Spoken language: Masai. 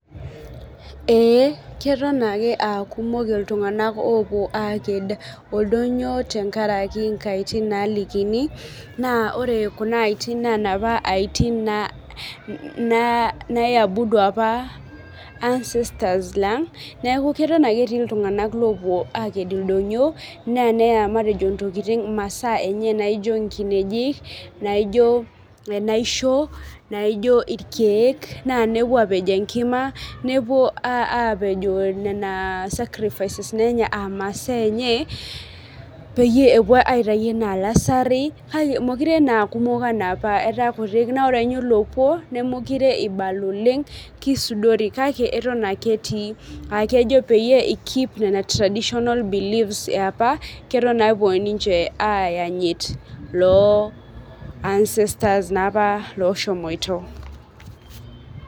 Ee keton ake aa kumok ltunganak opuo aked oldonyio tenkaraki nkaitin nalikini na ore kuna aitim na laapa aitin ani abudu ancestors lang neaku atan ake etii ltunganak opuo aked oldonyio na neya masaa enye naijo nkinejik naijo enaisho na nepuo apej enkima nepuo apejoo nona sucrifirces a nona masa eny peyie epuo aitau ana lasari kake ataa kutik ore ake kisudori kake atan ake etii keep traditional beliefs eapa atan ake ninche epuo ancestors apa loshomoita